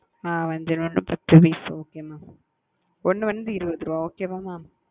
அ வஞ்சர மீன் பத்து piece okay mam ஒன்னு வந்து இருவது ரூபா okay வா mam?